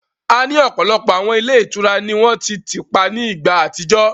A ní ọ̀pọ̀lọpọ̀ àwọn ilé ìtura ni wọ́n ti tìpá ní ìgbà àtijọ́